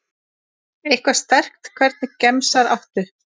Eitthvað sterkt Hvernig gemsa áttu?